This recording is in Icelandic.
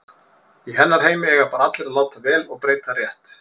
Í hennar heimi eiga bara allir að láta vel og breyta rétt.